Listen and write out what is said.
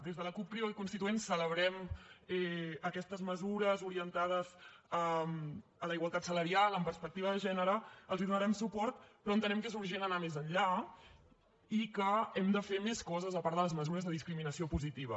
des de la cup crida constituent celebrem aquestes mesures orientades a la igualtat salarial amb perspectiva de gènere els hi donarem suport però entenem que és urgent anar més enllà i que hem de fer més coses a part de les mesures de discriminació positiva